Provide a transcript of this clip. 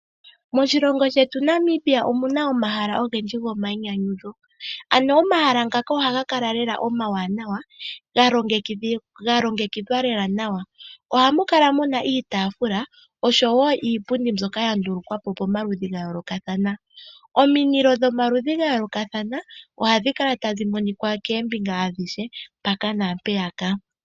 Moshilongo shetu Namibia omuna omahala ogendji gomainyanyudho. Ano omahala ngaka ohaga kala lela omawanawa, ga longekidhwa lela nawa. Ohamu kala muna iitafula oshowo iipundi mbyoka ya ndulukwa po pomaludhi gayoolokathana. Omindilo dhomaludhi gayoolokathana ohadhi kala tadhi monika koombinga adhihe mpaka naampeyaka.